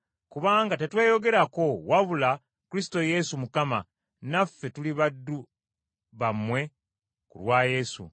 Kubanga tetweyogerako wabula Kristo Yesu Mukama, naffe tuli baddu bammwe ku lwa Yesu.